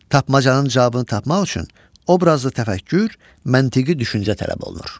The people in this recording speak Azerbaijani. Tapmacanın cavabını tapmaq üçün obrazlı təfəkkür, məntiqi düşüncə tələb olunur.